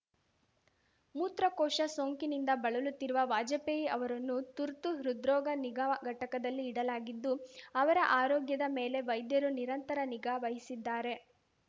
ಮೂತ್ರಕೋಶ ಸೋಂಕಿನಿಂದ ಬಳಲುತ್ತಿರುವ ವಾಜಪೇಯಿ ಅವರನ್ನು ತುರ್ತು ಹೃದ್ರೋಗ ನಿಗಾ ಘಟಕದಲ್ಲಿ ಇಡಲಾಗಿದ್ದು ಅವರ ಆರೋಗ್ಯದ ಮೇಲೆ ವೈದ್ಯರು ನಿರಂತರ ನಿಗಾ ವಹಿಸಿದ್ದಾರೆ